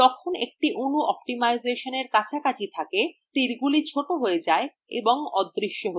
যখন একটি অণু অপ্টিমাইজেশনের কাছাকাছি থাকে তীরগুলি ছোট হয়ে যায় এবং অদৃশ্য হয়ে যায়